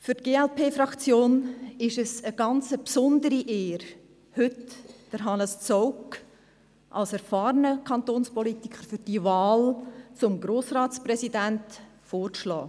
Für die glp-Fraktion ist es eine ganz besondere Ehre, heute Hannes Zaugg als erfahrenen Kantonspolitiker für die Wahl zum Grossratspräsidenten vorzuschlagen.